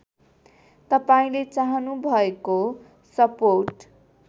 तपाईँले चाहनुभएको सपोर्ट